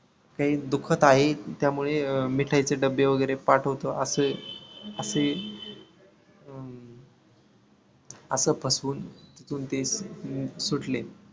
काही दुखत आहे त्यामुळे मिठाईचे डब्बे वैगरे पाठवतो असे असे अं असं फसवून ते सुटले.